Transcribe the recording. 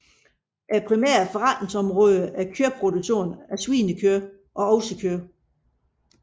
De primære forretningsområder er kødproduktion af svinekød og oksekød